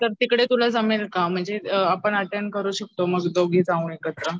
तर तिकडे तुला जमेल का म्हणजे अअ आपण अटेंड करू शकतो मग दोघी जाऊन एकत्र.